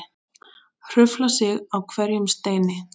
Hrufla sig á hverjum steini.